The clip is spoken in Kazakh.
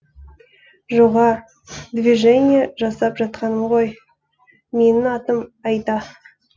жоға движение жасап жатқаным ғо менің атым айда